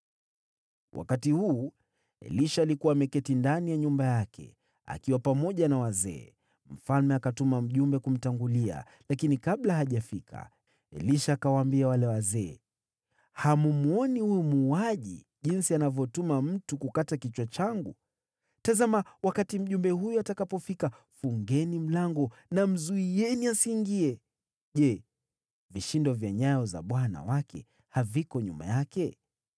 Wakati huu, Elisha alikuwa ameketi ndani ya nyumba yake, akiwa pamoja na wazee. Mfalme akatuma mjumbe kumtangulia, lakini kabla hajafika, Elisha akawaambia wale wazee, “Hammwoni huyu muuaji jinsi anavyotuma mtu kukata kichwa changu? Tazama, wakati mjumbe huyo atakapofika, fungeni mlango na mzuieni asiingie. Je, vishindo vya nyayo za bwana wake haviko nyuma yake?”